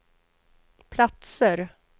platser